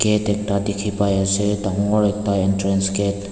yatae ekta dikhi paiase dangor ekta entrance gate .